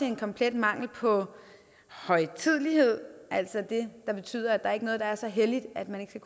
en komplet mangel på højtidelighed altså det der betyder at der ikke er noget der er så helligt at man ikke